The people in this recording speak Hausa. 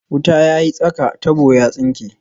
Wuta ya yi tsaka, tabo ya tsinke